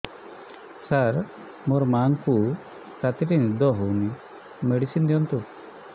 ସାର ମୋର ମାଆଙ୍କୁ ରାତିରେ ନିଦ ହଉନି ମେଡିସିନ ଦିଅନ୍ତୁ